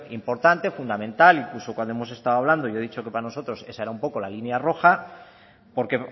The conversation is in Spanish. importante fundamental e incluso cuando hemos estado hablando yo he dicho que para nosotros esa era un poco la línea roja porque